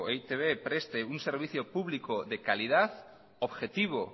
e i te be preste un servicio público de calidad objetivo